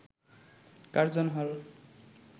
Curzon হল